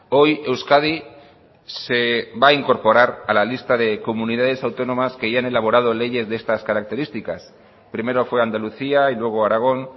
hoy euskadi se va a incorporar a la lista de comunidades autónomas que ya han elaborado leyes de estas características primero fue andalucía y luego aragón